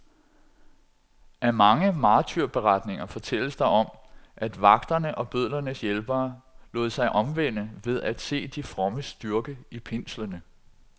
I mange martyrberetninger fortælles der om, at vagterne og bødlernes hjælpere lod sig omvende ved at se de frommes styrke i pinslerne.